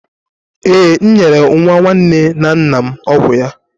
Ee, m nyere nwa nwanne na nna m ọgwụ ya.